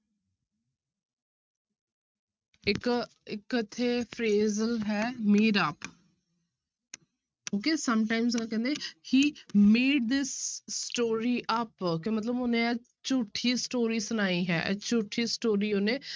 ਇੱਕ ਇੱਕ ਇੱਥੇ ਫਿਰ ਹੈ made-up okay ਕਹਿੰਦੇ he made this story up ਕਿ ਮਤਲਬ ਉਹਨੇ ਇਹ ਝੂਠੀ story ਸੁਣਾਈ ਹੈ ਇਹ story ਉਹਨੇ